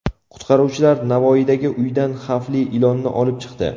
Qutqaruvchilar Navoiydagi uydan xavfli ilonni olib chiqdi.